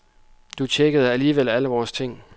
Du tjekkede alligevel alle vores ting.